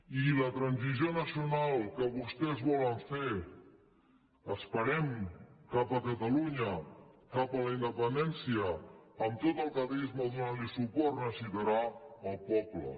i la transició nacional que vostès volen fer ho esperem cap a catalunya cap a la independència amb tot el catalanisme donant hi suport necessitarà el poble